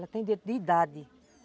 Ela tem direito de idade.